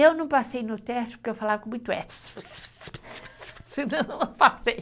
Eu não passei no teste porque eu falava com muito esse. Senão, eu não passei.